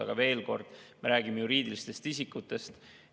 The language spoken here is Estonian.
Aga veel kord, me räägime juriidilistest isikutest.